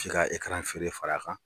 se ka feere far'a kan.